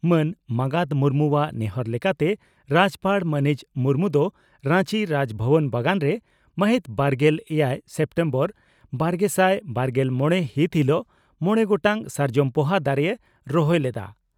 ᱢᱟᱱ ᱢᱟᱜᱟᱛ ᱢᱩᱨᱢᱩᱣᱟᱜ ᱱᱮᱦᱚᱨ ᱞᱮᱠᱟᱛᱮ ᱨᱟᱡᱭᱚᱯᱟᱲ ᱢᱟᱹᱱᱤᱡ ᱢᱩᱨᱢᱩ ᱫᱚ ᱨᱟᱧᱪᱤ ᱨᱟᱡᱽᱵᱷᱚᱵᱚᱱ ᱵᱟᱜᱟᱱ ᱨᱮ ᱢᱟᱹᱦᱤᱛ ᱵᱟᱨᱜᱮᱞ ᱮᱭᱟᱭ ᱥᱮᱯᱴᱮᱢᱵᱚᱨᱵᱟᱨᱜᱮᱥᱟᱭ ᱵᱟᱨᱜᱮᱞ ᱢᱚᱲᱮ ᱦᱤᱛ ᱦᱤᱞᱚᱜ ᱢᱚᱲᱮ ᱜᱚᱴᱟᱝ ᱥᱟᱨᱡᱚᱢ ᱯᱚᱦᱟ ᱫᱟᱨᱮᱭ ᱨᱚᱦᱚᱭ ᱞᱮᱫᱼᱟ ᱾